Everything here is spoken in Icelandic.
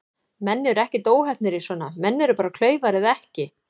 Menn eru ekkert óheppnir í svona, menn eru bara klaufar eða ekki.